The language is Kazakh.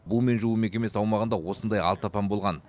бумен жуу мекемесі аумағында осындай алты апан болған